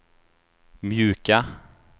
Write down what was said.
mjuka